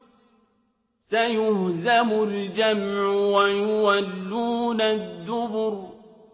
سَيُهْزَمُ الْجَمْعُ وَيُوَلُّونَ الدُّبُرَ